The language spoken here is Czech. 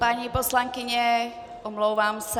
Paní poslankyně, omlouvám se.